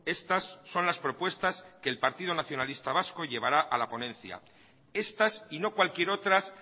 estas son las propuestas que el partido nacionalista vasco llevará a la ponencia estas y no cualquier otras